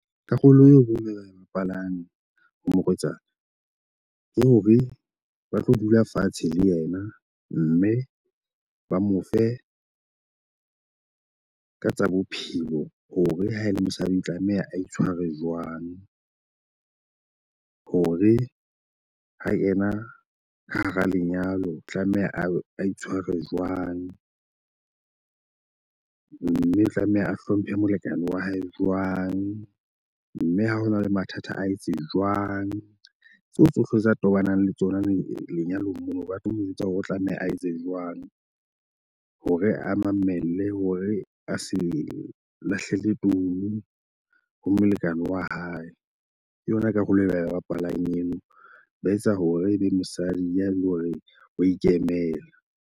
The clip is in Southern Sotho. Karolo eo bo mela ya bapalami ho morwetsana ke hore ba tlo dula fatshe le ena mme ba mo fe ka tsa bophelo. Hore ha e le mosadi tlameha a itshware jwang hore ha kena ka hara lenyalo, tlameha a itshware jwang. Mme o tlameha a hlomphe molekane wa hae jwang. Mme ha ho na le mathata a etse jwang. Tseo tsohle tsa tobanang le tsona lenyalong mono ba tlo mo jwetsa hore o tlameha a etse jwang. Hore a mamelle hore a se lahlele ntono ho molekane wa hae. Ke yona karolo e ba e bapalang eno , ba etsa hore ebe mosadi ya le hore wa ikemela.